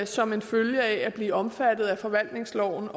som en følge af at blive omfattet af forvaltningsloven